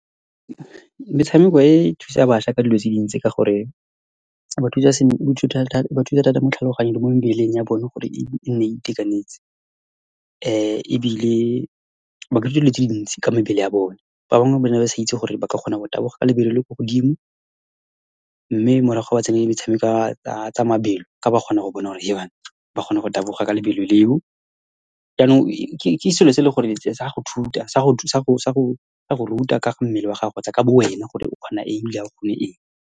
Metshameko e e thusa bašwa ka dilo tse dintsi, ka gore , e ba thusa thata mo tlhaloganyong le mo mebeleng ya bone gore e nne e itekanetse. Ebile ba ka ithuta dilo tse dintsi ka mebele ya bone. Ba bangwe ba ne ba sa itse gore ba ka kgona go taboga ka lebelo le le kwa godimo. Mme morago, ba tsenya ka tsa mabelo, ka ba kgona go bona gore, Hebanna! Ba kgona go taboga ka lebelo leo, jaanong ke selo se eleng gore sa go , sa go ruta ka ga mmele wa gago kgotsa ka bo wena, gore o kgona eng, ebile ha o kgona eng.